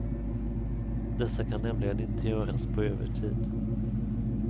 Dessa kan nämligen inte göras på övertid.